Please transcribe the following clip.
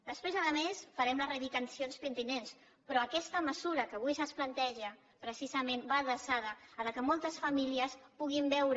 després a més farem les reivindicacions pertinents però aquesta mesura que avui se’ns planteja precisament va adreçada que moltes famílies puguin veure